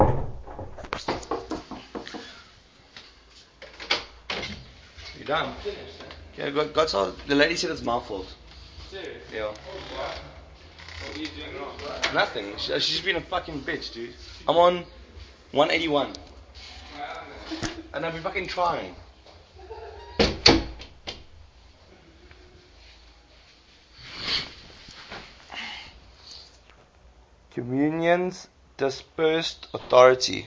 communion's dispersed authority